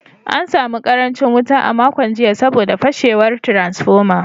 An samu karancin wuta a makon jiya saboda fashewar transformer.